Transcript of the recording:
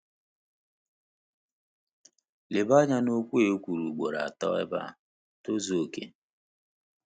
Leba anya na okwu a ekwuru ugboro atọ ebe a—“tozu oke.”